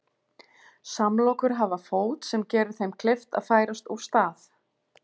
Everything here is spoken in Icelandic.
Samlokur hafa fót sem gerir þeim kleift að færast úr stað.